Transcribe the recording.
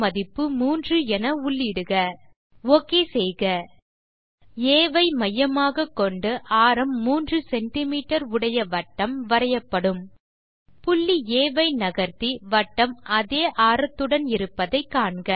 ஆரத்தின் மதிப்பு 3 என உள்ளீடுக ஓகே செய்க ஆ ஐ மையமாக கொண்டு ஆரம் 3 சிஎம் உடைய வட்டம் வரையப்படும் புள்ளி ஆ ஐ நகர்த்தி வட்டம் அதே ஆரத்துடன் இருப்பதை காண்க